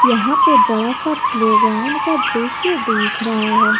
यहां पे बड़ा सा प्लेग्राउंड का दृश्य दिख रहा है।